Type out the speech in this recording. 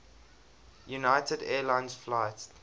united airlines flight